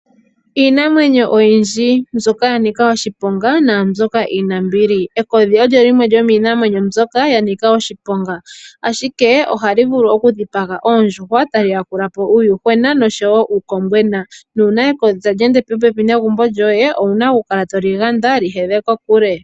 Iinamwenyo oyindji mbyoka ya nika oshiponga naambyoka iinambili, ekodhi olyo limwe lyomiinamwenyo mbyoka ya nika oshiponga ashike ohali vulu okudhipaga oondjuhwa tali yakula po uuyuhwena nosho wo uukombwena nuuna ekodhi tali ende popepi negumbo lyoye owuna okukala to li ganda lyi hedhe kokule.